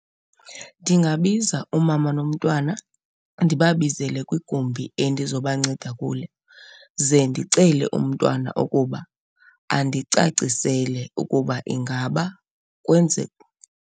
Ndingabiza umama nomntwana ndibabizele kwigumbi endizobanceda kulo ze ndicele umntwana ukuba andicacisele ukuba ingaba .